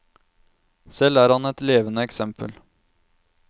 Selv er han et levende eksempel.